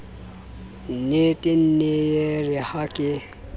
nnetee nee yeere ha ke